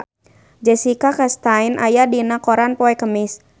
Jessica Chastain aya dina koran poe Kemis